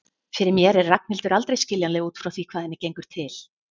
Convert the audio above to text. Fyrir mér er Ragnhildur aldrei skiljanleg út frá því hvað henni gengur til.